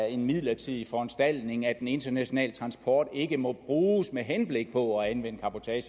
en midlertidig foranstaltning at den internationale transport ikke må bruges med henblik på at anvende